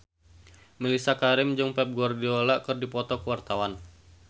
Mellisa Karim jeung Pep Guardiola keur dipoto ku wartawan